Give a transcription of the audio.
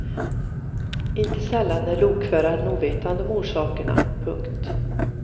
Inte sällan är lokföraren ovetande om orsakerna. punkt